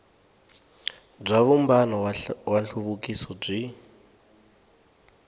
bya vumbano wa nhluvukiso byi